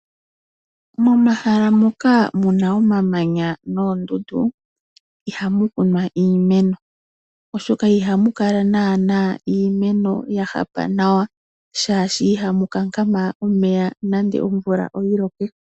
Momahala mu ka mu na omamanya noondundu ihamu kunwa iimeno oshoka iha mu kala naana iimeno ya hapa nawa omolwashoka ihamu kankama omeya nande omvula oyi loke.